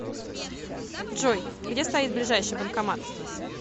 джой где стоит ближайший банкомат